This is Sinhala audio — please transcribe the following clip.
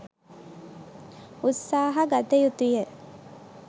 උත්සාහ ගත යුතු ය.